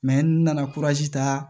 n nana ta